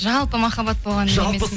жалпы махаббат болған емес